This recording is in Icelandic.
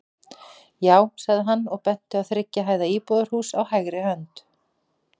Já, sagði hann og benti á þriggja hæða íbúðarhús á hægri hönd.